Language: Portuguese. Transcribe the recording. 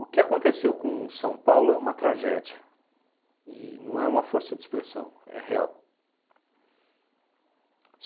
O que aconteceu com São Paulo é uma tragédia e não é uma força de expressão, é real.